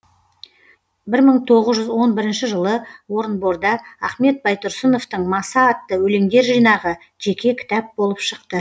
бір мың тоғыз жүз он бірінші жылы орынборда ахмет байтұрсыновтың маса атты өлеңдер жинағы жеке кітап болып шықты